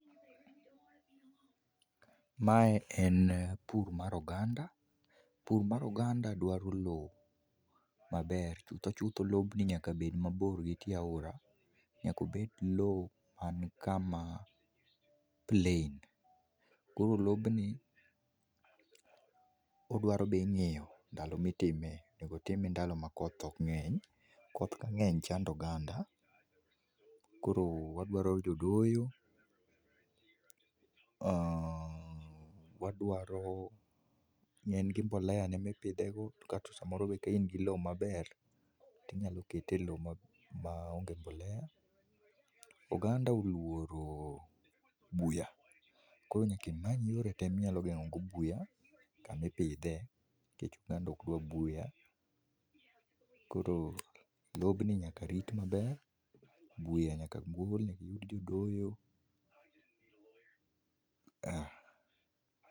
Mae en pur mar oganda, pur mar oganda dwaro lowo maber to chutho chutho lobni nyaka bed mabor gitie aora, nyaka obed lowo man kama plain. Koro lobni odwaro be ing'iyo sama itimee, onego otime ndalo ma koth ok ng'eny, koth kang'eny chando oganda, koro wadwaro jodoyo, eeeh wadwaro, ne en gi mbolea ne mipidhego, kaeto samoro be kain gi lowo maber tinyalo kete e lowo maonge mbolea. Oganda oluoro buya, koro nyaka imany yore tee minyalo geng'ogo buya kama ipidhee nikech oganda ok dwar buya. Kor lobni nyaka rit maber, buya nyaka golne gijodoyo ah.